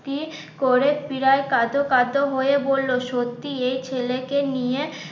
প্রায় কাঁদোকাঁদো হয়ে বললো সত্যি এই ছেলেকে নিয়ে